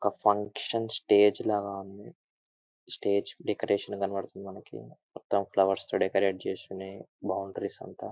ఒక function stage లాగా ఉంది. స్టేజి డెకరేషన్ కనపడుతింది. మనకి మొత్తం ఫ్లవర్స్ తో డెకరేషన్ చేసి ఉంది. అంత బాగుంది --]